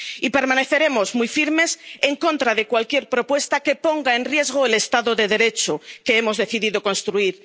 Y permaneceremos muy firmes en contra de cualquier propuesta que ponga en riesgo el Estado de Derecho que hemos decidido construir.